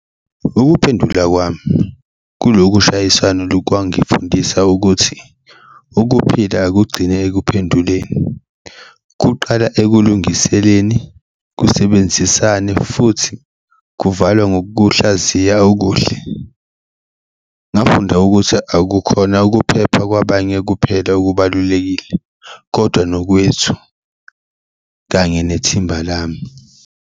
Ukuphendula kwami kuloku shayisana kwangifundisa ukuthi ukuphila akugcini ekuphenduleni kuqala ekulungiseleni, kusebenzisane futhi kuvalwe ngokuhlaziya okuhle, ngafunda ukuthi akukhona ukuphepha kwabanye kuphela okubalulekile kodwa nokwethu kanye nethimba lami.